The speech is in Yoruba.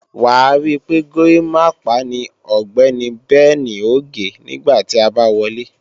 Wàá rí pé górimápá ni Ọ̀gbẹ́ni Bẹnì ò gé nígbà tí a bá wọlé